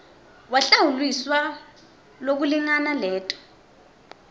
wahlawuliswa lokulingana leto